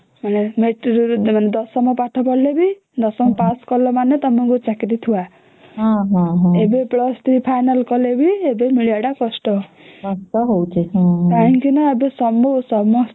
matric ମାନେ ଦଶମ pass କଲା ମାନେ ତମକୁ ଚାକିରୀ ଥୁଆ ଏବେ + ତିନି ଫାଇନାଲ କଲେ ବି ଏବେ ମିଳିବ ଟା କଷ୍ଟ କାହିଁକି ନ ଏବେ ସମସ୍ତେ